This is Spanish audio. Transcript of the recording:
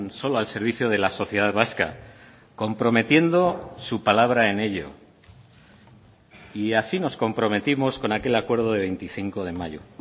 solo al servicio de la sociedad vasca comprometiendo su palabra en ello y así nos comprometimos con aquel acuerdo de veinticinco de mayo